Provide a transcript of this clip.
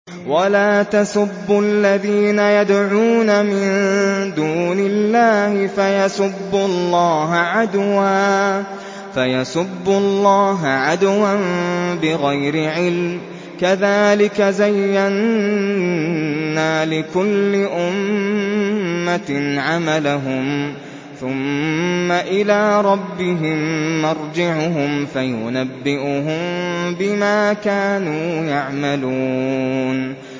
وَلَا تَسُبُّوا الَّذِينَ يَدْعُونَ مِن دُونِ اللَّهِ فَيَسُبُّوا اللَّهَ عَدْوًا بِغَيْرِ عِلْمٍ ۗ كَذَٰلِكَ زَيَّنَّا لِكُلِّ أُمَّةٍ عَمَلَهُمْ ثُمَّ إِلَىٰ رَبِّهِم مَّرْجِعُهُمْ فَيُنَبِّئُهُم بِمَا كَانُوا يَعْمَلُونَ